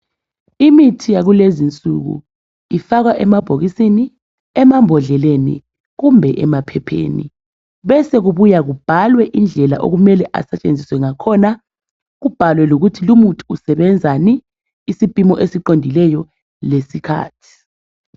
Imithi yakulezinsuku ifakwa emabhokisini, emambhodleleni kumbe emaphepheni besekubuya kubhalwe indlela okumele asetshenziswe ngakhona kubhalwe lokuthi lumuthi usebenzani isipimo esiqondileyo lesikhathi.